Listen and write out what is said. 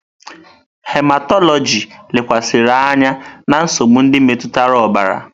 Hematọlọjị lekwasịrị anya na nsogbu ndị metụtara ọbara.